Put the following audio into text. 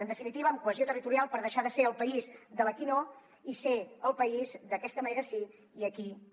en definitiva cohesió territorial per deixar de ser el país de l’ aquí no i ser el país de d’aquesta manera sí i aquí també